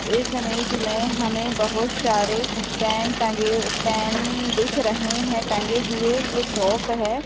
इस इमेज में हमें बहुत सारे पेन टंगे पेन दिख रहे हैं टंगे हुए ये शॉप है।